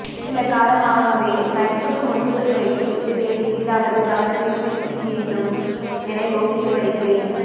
சில காலமாகவே நடிப்புக்கு முற்றுப்புள்ளி வைத்துவிட்டு வேறு எதிலாவது கவனத்தை செலுத்திவேண்டும் என யோசித்து வருகிறேன்